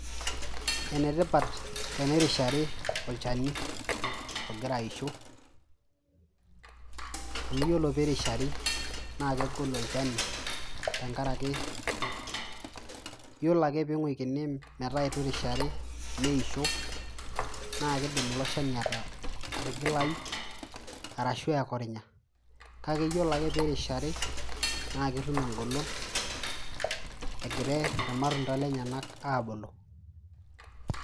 Enetipat tenerishari olchani ogira aisho, amu yiolo pirishari, na kegolu olchani, tenkaraki yiolo ake ping'uikini metaa itu irishari, neisho, na kidim ilo shani atigilayu, arashu ekorinya. Kake yiolo ake pirishari, na ketum egolon, egire irmatunda lenyanak abulu.